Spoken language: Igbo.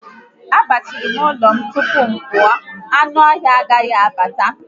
Agbachirim ụlọ m agbachi tupu m pụọ, anụ ọhịa agaghi abata